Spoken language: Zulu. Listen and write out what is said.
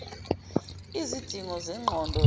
lzidingo zengqondo yenza